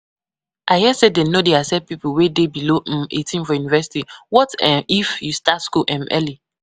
I hear say dem no dey accept people wey dey below um eighteen for university, what um if you start school um early?